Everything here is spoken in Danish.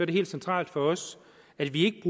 det helt centralt for os at vi